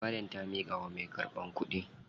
Maryam ta miƙawa mai karɓan kuɗin.